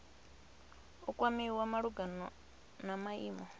u kwamiwa malugana na maimo